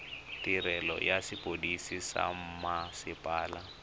tirelo ya sepodisi sa mmasepala